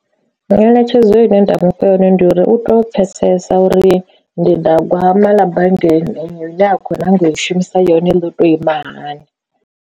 Ngeletshedzo ine nda mufha yone ndi uri u to pfhesesa uri ndindagwama ḽa banngani ine a khou nyanga u i shumisa yone ḽo to ima hani.